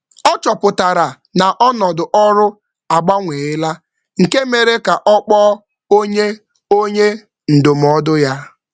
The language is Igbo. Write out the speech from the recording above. Ọ um chọpụtara na ọnọdụ ọrụ agbanweela, nke mere ka ọ kpọọ onye ndụmọdụ ya.